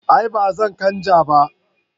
a'a ba zan canja ba